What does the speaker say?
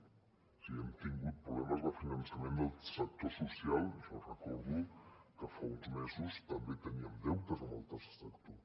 o sigui hem tingut problemes de finançament del sector social jo recordo que fa uns mesos també teníem deutes amb el tercer sector